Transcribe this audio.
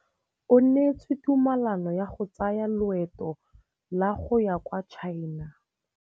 O neetswe tumalanô ya go tsaya loetô la go ya kwa China.